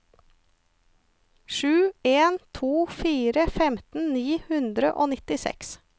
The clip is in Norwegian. sju en to fire femten ni hundre og nittiseks